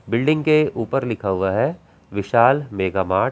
Building के ऊपर लिखा हुआ है विशाल मेगा मार्ट ।